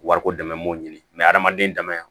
Wariko dɛmɛ m'o ɲini hadamaden dama